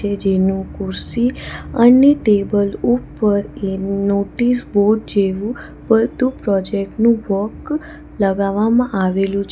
જેનું કુરશી અને ટેબલ ઉપર એ નોટિસ બોર્ડ જેવું બધું પ્રોજેક્ટ નું વર્ક લગાવવામાં આવેલું છે.